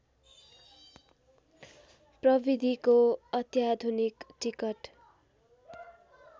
प्रविधिको अत्याधुनिक टिकट